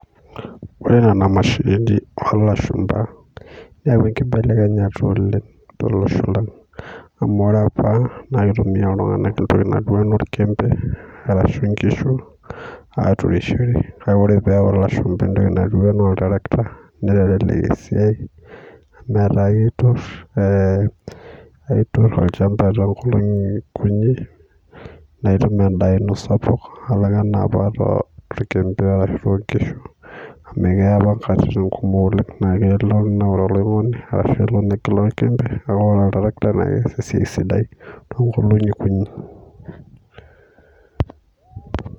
Ore nena mashinini olashupa neyaua enkibelekenyeta oleng, tolosho lang amu, ore apa naa kitumia iltunganak intokitin naijo olchepe arashu, inkishu aturishore. Kake ore pee eyau ilashupa etoki naji oltarikita nelelek esiai pi amu, etaa ketur eh etur olchamba tookolongi kujii. Naitum endaa ino sapuk nalang enapa orkepe arashu, inkishu amu, keya apa inkatitin kumok naa kelo naa oloingoni arashu negila orkepe naa ore oltarikita naa keas esiai sidai tookolongi kujii.